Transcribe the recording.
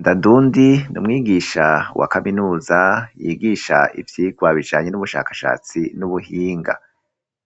Ndandundi n'umwigisha wa kaminuza yigisha ivyigwa bijanye n'ubushakashatsi n'ubuhinga,